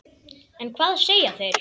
En hvað segja þeir?